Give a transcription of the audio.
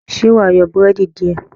ṣe wá yan Búrẹ́dì diẹ?